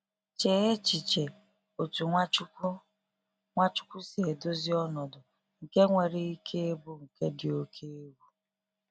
Chee echiche otú Nwachukwu Nwachukwu si edozi ọnọdụ nke nwere ike ịbụ nke dị oke egwu.